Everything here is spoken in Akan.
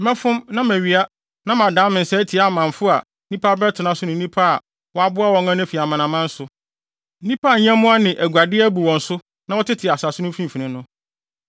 Mɛfom na mawia na madan me nsa atia amamfo a nnipa abɛtena so ne nnipa a wɔaboa wɔn ano afi amanaman so, nnipa a nyɛmmoa ne aguade abu wɔn so na wɔtete asase no mfimfini no.”